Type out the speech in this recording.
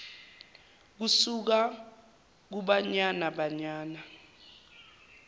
kusuka kubanyana banyana